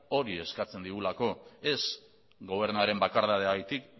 hori eskatzen digulako ez gobernuaren bakardadeagatik